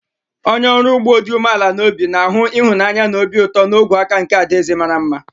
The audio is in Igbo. Onye ọrụ ugbo dị umeala n'obi na-ahụ ịhụnanya na obi ụtọ n'ime ogwe aka nke adaeze mara mma.